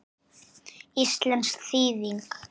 Íslensk þýðing